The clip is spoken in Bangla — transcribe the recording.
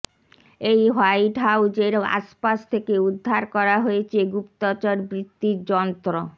এই হোয়াইট হাউজের আশপাশ থেকে উদ্ধার করা হয়েছে গুপ্তচরবৃত্তির যন্ত্র